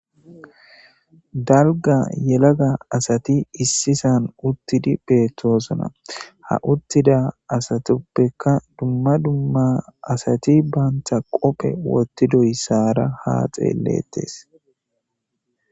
dalga yelaga asati issisan uttidi beettoosna ha uttida asatuppeka dumma dumma asati baanta qophe wottidoysaara ha xeellettes